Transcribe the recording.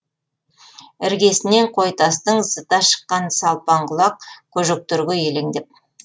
іргесінен қойтастың зыта шыққан салпаңқұлақ көжектерге елеңдеп